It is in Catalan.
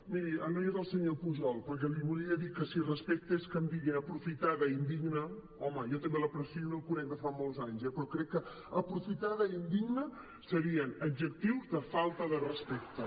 miri ara no hi és el senyor pujol perquè li volia dir que si respecte és que em diguin aprofitada i indigna home jo també l’aprecio i el conec de fa molts anys eh però crec que aprofitada i indigna serien adjectius de falta de respecte